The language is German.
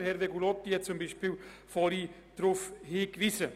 Darauf hat vorhin beispielsweise auch Hervé Gullotti hingewiesen.